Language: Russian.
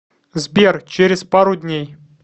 сбер через пару дней